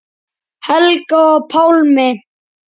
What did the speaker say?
Helga og Pálmi.